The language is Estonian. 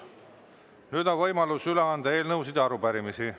Nüüd on võimalus üle anda eelnõusid ja arupärimisi.